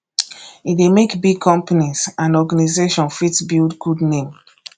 e de make big companies and organization fit build good name